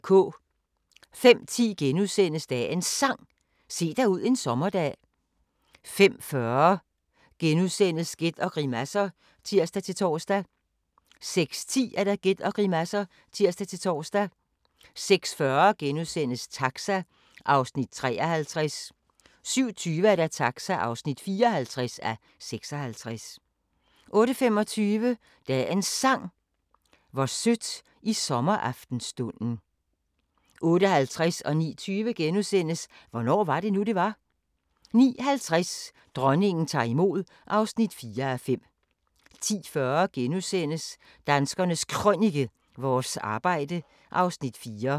05:10: Dagens Sang: Se dig ud en sommerdag * 05:40: Gæt og grimasser *(tir-tor) 06:10: Gæt og grimasser (tir-tor) 06:40: Taxa (53:56)* 07:20: Taxa (54:56) 08:25: Dagens Sang: Hvor sødt i sommeraftenstunden 08:50: Hvornår var det nu, det var? * 09:20: Hvornår var det nu, det var? * 09:50: Dronningen tager imod (4:5) 10:40: Danskernes Krønike - vores arbejde (Afs. 4)*